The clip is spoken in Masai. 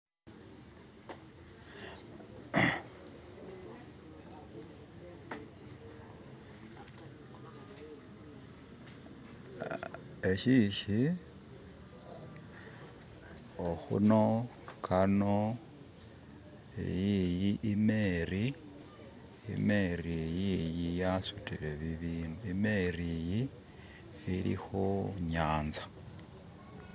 Ah eshishi okhuno kano eyiyi imeeri, imeeri iyiyi yasutile bibindu, imeeri yi ili ku nyaanza